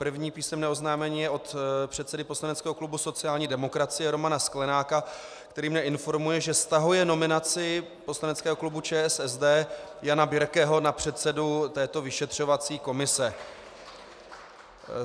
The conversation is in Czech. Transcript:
První písemné oznámení je od předsedy poslaneckého klubu sociální demokracie Romana Sklenáka, který mě informuje, že stahuje nominaci poslaneckého klubu ČSSD Jana Birkeho na předsedu této vyšetřovací komise.